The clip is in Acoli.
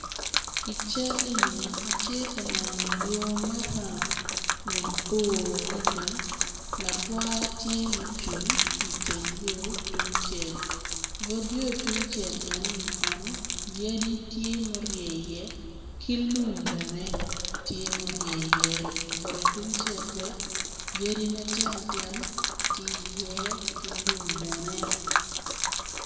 I cal enini atye ka neno yo maram mabor adada, lagwar tye ma ocung kiteng yo tung cel, but yo tungcel enoni kono yadi tye ma oryei i ye kilum bene tye ma oryei i ye bute tungcel bene yadi matino tino tye itye ki lum bene.